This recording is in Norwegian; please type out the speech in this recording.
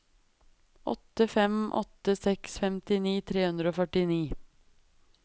åtte fem åtte seks femtini tre hundre og førtini